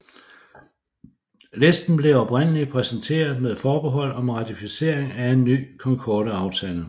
Listen blev oprindelig præsenteret med forbehold om ratificering af en ny Concordeaftale